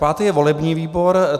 Pátý je volební výbor.